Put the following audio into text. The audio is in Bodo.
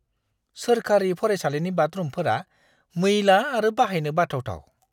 सोरखारि फरायसालिनि बाथरुमफोरा मैला आरो बाहायनो बाथावथाव।